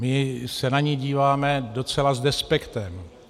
My se na ni díváme docela s despektem.